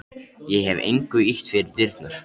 Ég hef engu ýtt fyrir dyrnar.